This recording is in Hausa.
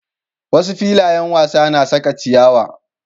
Wasu filayen wasa na saka ciyawa.